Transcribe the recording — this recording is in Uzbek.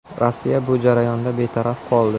Rossiya bu jarayonda betaraf qoldi.